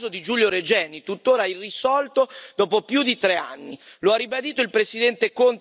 Mi riferisco, in particolare, al caso di Giulio Regeni, tuttora irrisolto dopo più di tre anni.